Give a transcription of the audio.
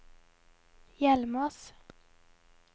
Hjelmås